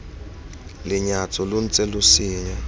lenyatso lo ntse lo senya